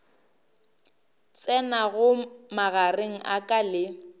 tsenago magareng a ka le